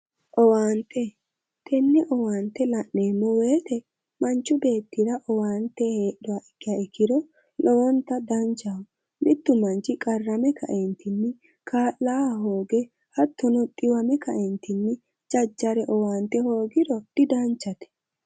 Owaante, tenne owaante la'neemmo woyiite manchu beettira owaante heedhuha ikkiha ikkiro lowonta danchaho. mittu manchi qarrame kaeentinni kaa'laahe hooge hattono xiwame kaeentinni jajjare owaante hoogiro didanchate.